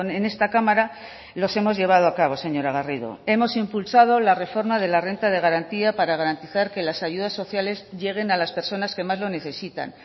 en esta cámara los hemos llevado a cabo señora garrido hemos impulsado la reforma de la renta de garantía para garantizar que las ayudas sociales lleguen a las personas que más lo necesitan